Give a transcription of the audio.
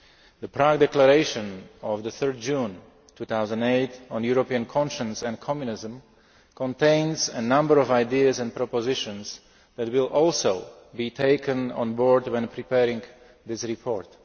The Prague Declaration of 3 June 2008 on European Conscience and Communism contains a number of ideas and propositions that will also be taken on board when preparing this report.